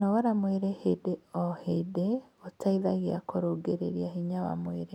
kũnogora mwĩrĩ hĩndĩ o hĩndĩ gũteithagia kurungirirĩa hinya wa mwĩrĩ